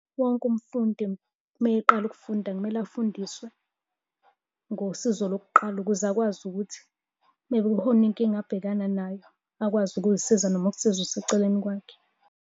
Wonke umfundi uma eqala ukufunda, kumele afundiswe ngosizo lokuqala ukuze akwazi ukuthi mekukhona inkinga abhekana nayo, akwazi ukuzisiza noma ukusiza oseceleni kwakhe.